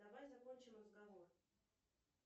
давай закончим разговор